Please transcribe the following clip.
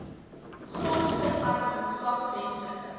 grondverarming swak menslike